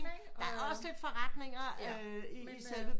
Der er også lidt forretninger i selve